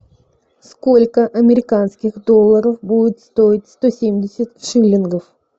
сколько американских долларов будет стоить сто семьдесят шиллингов